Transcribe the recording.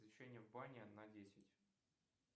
освещение в бане на десять